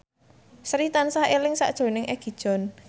Sri tansah eling sakjroning Egi John